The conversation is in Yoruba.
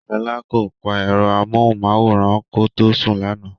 Ṣọ́la kò pa ẹ̀rọ amóhùnmáwòrán kó tó sùn lánàá.